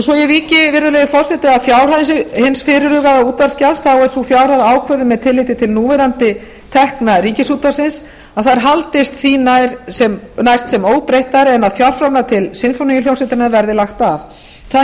svo ég víki virðulegi forseti að fjárhæð hins fyrirhugaða útvarpsgjalds þá er sú fjárhæð ákveðin með tilliti til núverandi tekna ríkisútvarpsins að þær haldist því nær sem næst óbreyttar nema að fjárframlög til sinfóníuhljómsveitarinnar verði lagt af það